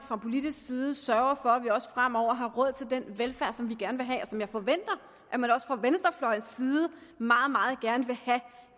fra politisk side sørger for at vi også fremover har råd til den velfærd som vi gerne vil have og som jeg forventer at man også fra venstrefløjens side meget meget gerne vil have